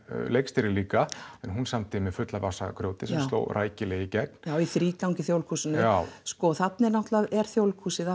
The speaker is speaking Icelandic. leikstýrir líka en hún samdi með fulla vasa af grjóti sem sló rækilega í gegn í þrígang í Þjóðleikhúsinu þarna er Þjóðleikhúsið